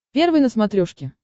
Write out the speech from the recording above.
первый на смотрешке